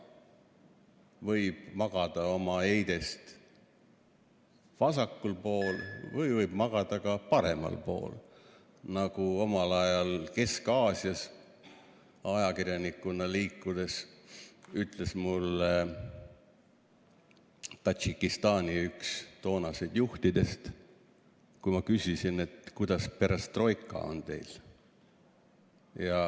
Võib magada oma eidest vasakul pool ja võib magada paremal pool, nagu omal ajal, kui ma Kesk-Aasias ajakirjanikuna liikusin, ütles mulle üks Tadžikistani toonastest juhtidest, kui ma küsisin, kuidas teil perestroikaga on.